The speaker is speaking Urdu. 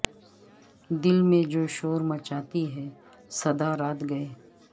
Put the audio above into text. دل میں جو شور مچاتی ہے سدا رات گئے